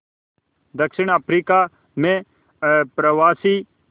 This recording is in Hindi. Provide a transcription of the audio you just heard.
दक्षिण अफ्रीका में अप्रवासी